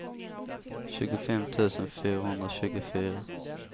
tjugofem tusen fyrahundratjugofyra